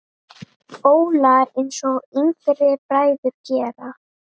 Óla, einsog yngri bræður gera.